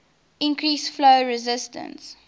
increase flow resistance